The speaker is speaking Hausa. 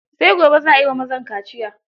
Sai gobe za a yi wa mazan kaciyar.